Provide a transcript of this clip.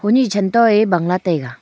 honyi chan toh ae bang lah taega.